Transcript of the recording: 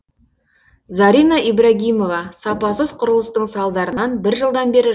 зарина ибрагимова сапасыз құрылыстың салдарынан бір жылдан бері